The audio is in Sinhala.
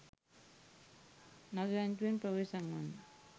නරි රංචුවෙන් ප්‍රවේශම් වන්න